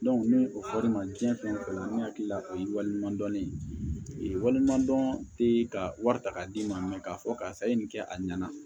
ni o fɔ ra ne ma diɲɛ fɛn o fɛn kɔnɔ ne hakili la o ye waleɲuman dɔn ne ye waliɲuman dɔn te ka wari ta k'a d'i ma k'a fɔ karisa e ye nin kɛ a ɲɛna